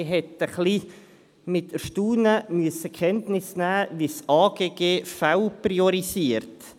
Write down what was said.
Man hat mit Erstaunen zur Kenntnis genommen, wie das Amt für Grundstücke und Gebäude (AGG) Fälle priorisiert.